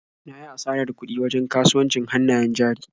Na yi asarar kuɗi wajen kasuwancin hannayen jari.